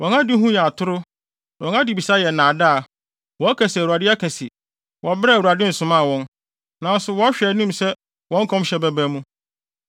Wɔn adehu yɛ atoro, na wɔn adebisa yɛ nnaadaa. Wɔka se, ‘ Awurade aka se,’ wɔ bere a Awurade nsomaa wɔn, nanso wɔhwɛ anim sɛ wɔn nkɔmhyɛ bɛba mu.